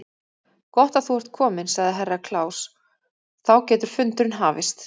Gott að þú ert kominn, sagði Herra Kláus, þá getur fundurinn hafist.